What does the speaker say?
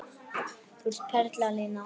Þú ert perla Lína!